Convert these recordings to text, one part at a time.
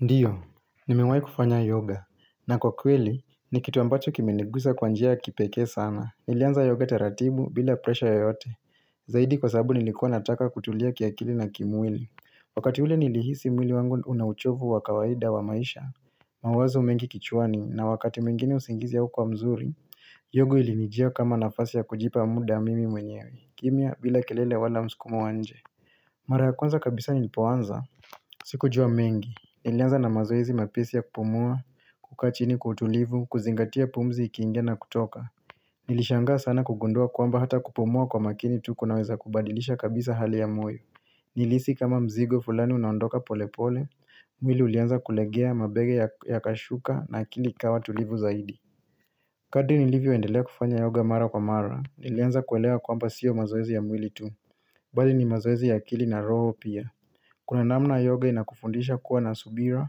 Ndiyo, nimewahi kufanya yoga, na kwa kweli, ni kitu ambacho kimenegusa kwa njia ya kipekee sana. Nilianza yoga taratibu bila presha yote, zaidi kwa sababu nilikuwa nataka kutulia kiakili na kimwili. Wakati ule nilihisi mwili wangu una uchovu wa kawaida wa maisha, mawazo mengi kichwani, na wakati mwengine usingizi haukua mzuri, yoga ilinijia kama nafasi ya kujipa muda mimi mwenyewe, kimya bila kelele wala msukumo wa nje. Mara ya kwanza kabisa nilipoanza, sikujua mengi, nilianza na mazoezi mepisi ya kupumua, kukaa chini kwa utulivu, kuzingatia pumzi ikiingia na kutoka Nilishanga sana kugundua kwamba hata kupumua kwa makini tuku kunaweza kubadilisha kabisa hali ya moyo Nilisi kama mzigo fulani unaondoka polepole, mwili ulianza kulegea mabega yakashuka na akili ikawa tulivu zaidi kati nilivyoendelea kufanya yoga mara kwa mara, nilianza kwelewa kwamba siyo mazoezi ya mwili tu, bali ni mazoezi ya kili na roho pia Kuna namna yoga inakufundisha kuwa na subira,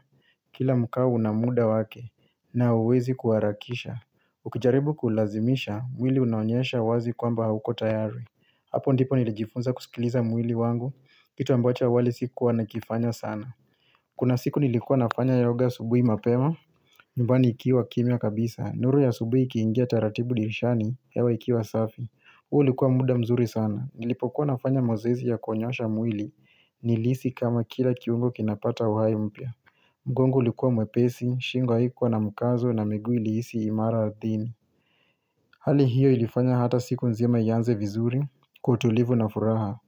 kila mkau una muda wake, na huwezi kuarakisha. Ukijaribu kulazimisha, mwili unaonyesha wazi kwamba hauko tayari. Hapo ndipo nilijifunza kusikiliza mwili wangu, kitu ambacho awali sikuwa nikifanya sana. Kuna siku nilikuwa nafanya yoga asubuhi mapema, nyumbani ikiwa kimya kabisa. Nuru ya asubuhi ikiingia taratibu dirishani, hewa ikiwa safi. Huu ulikuwa muda mzuri sana, nilipokuwa nafanya mazoezi ya konyoosha mwili, nilisi kama kila kiungo kinapata wai mpya. Mgongo ulikuwa mwepesi, shingo haikuwa na mkazo na migui ilihisi imara dhini. Hali hiyo ilifanya hata siku nzima ianze vizuri, kwa utulivu na furaha.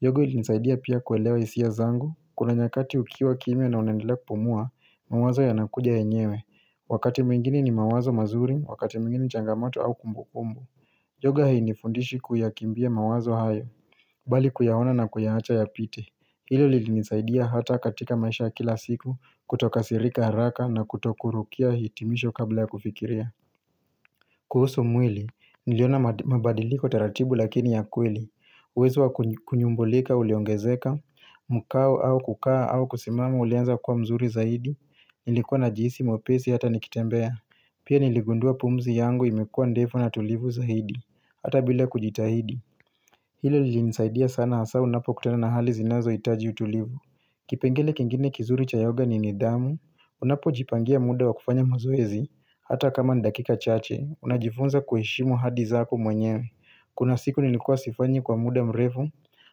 Yogo ilinisaidia pia kuelewa hisia zangu, kuna nyakati ukiwa kimya na unaendelea kupumua, mawazo yanakuja yenyewe. Wakati mwingeni ni mawazo mazuri, wakati mwingeni ni changamato au kumbukumbu. Yoga hainifundishi kuyakimbia mawazo hayo Bali kuyaona na kuyaacha yapite Hilo lilinisaidia hata katika maisha kila siku Kutokasirika haraka na kutokurukia hitimisho kabla ya kufikiria kuhusu mwili, niliona mabadiliko taratibu lakini ya kweli uwezo wa kunyumbulika uliongezeka Mkao au kukaa au kusimama uliweza kuwa mzuri zaidi Nilikuwa najisi mwepesi hata nikitembea Pia niligundua pumzi yangu imekuwa ndefu na tulivu zaidi Hata bila kujitahidi Hilo lilinisaidia sana hasa unapokutana na hali zinazohitaji utulivu kipengele kingine kizuri cha yoga ni nidhamu Unapojipangia muda wa kufanya mazoezi Hata kama dakika chache Unajifunza kuheshimu hadi zako mwenyewe Kuna siku nilikua sifanyi kwa muda mrefu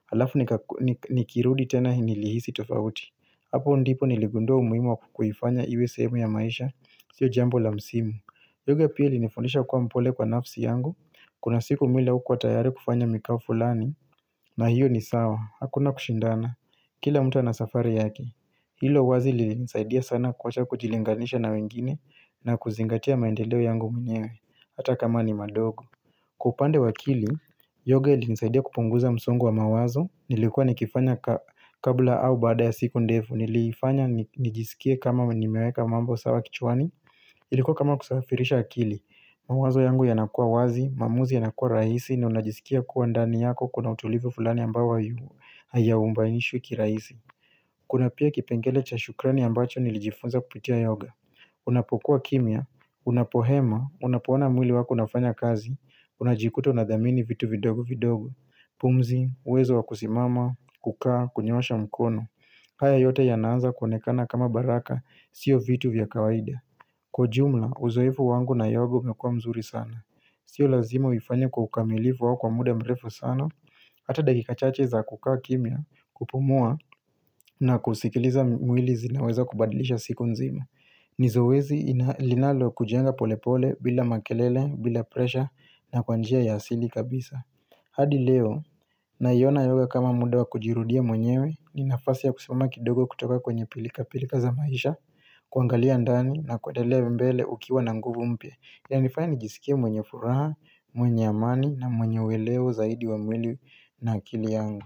Halafu nika nikirudi tena nililihisi tofauti Hapo ndipo niligundua umuhimu wa kuifanya iwe sehemu ya maisha Sio jambo la msimu Yoga pia ilinifundisha kuwa mpole kwa nafsi yangu Kuna siku mwili haukuwa tayari kufanya mikao fulani na hiyo ni sawah hakuna kushidana kila mtu ana safari yake hilo wazi lilinisaidia sana kuacha kujilinganisha na wengine nakuzingatia maendeleo yangu mwenyewe hata kama ni madogo kwa upande wa akili yoga ilinisaidia kupunguza msongo wa mawazo nilikua nikifanya ka kabla au baada ya siku ndefu nilifanya ni nijisikie kama nimeweka mambo sawah kichwani Ilikuwa kama kusafirisha akili mawazo yangu yanakuwa wazi, maamuzi yanakua rahisi Naunajisikia kuwa ndani yako kuna utulivu fulani ambao hai haiyaumbanishwi kirahisi Kuna pia kipengele cha shukrani ambacho nilijifunza kupitia yoga Unapokuwa kimya, unapohema, unapoona mwili wako unafanya kazi Unajikuta unadhamini vitu vidogo vidogo pumzi, uwezo wa kusimama, kukaa, kunyoosha mkono haya yote yanaanza kuonekana kama baraka, sio vitu vya kawaida Kwa jumla, uzoefu wangu na yogo umekua mzuri sana. Sio lazima uifanye kwa ukamilifu wao kwa muda mrefu sana, hata dakika chache za kukaa kimya kupumua na kusikiliza mwili zinaweza kubadilisha siku nzima. Nizowezi ina linalokujenga pole pole bila makelele, bila presha na kwa njia ya asili kabisa. Hadi leo naiona yoga kama muda wa kujirudia mwenyewe ni nafasi ya kusimama kidogo kutoka kwenye pilka pilka za maisha kuangalia ndani na kuendelea hivi mbele ukiwa na nguvu mpya inanifanya nijisikia mwenye furaha, mwenye amani na mwenye uwelewo zaidi wa mwili na akili yangu.